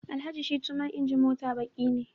Alhaji Shittu man injin mota baqi ne